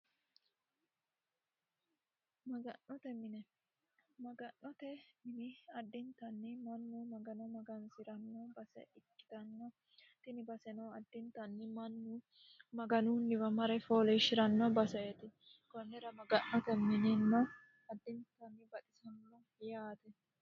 maga'note mine maga'note mini addintanni mannu magano magansi'ranno base ikkitannotini baseno addintanni mannu maganunniwa mare fooleeshi'ranno baseeti kunnira maga'note mininno addintanni baxisanno yaate